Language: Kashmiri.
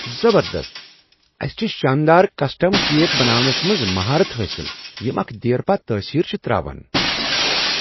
زبردست! اسِہ چھ شاندار کسٹم کیک بناونس منٛز مہارت حٲصل یم اکھ دیرپا تٲثیر چھ تراوان۔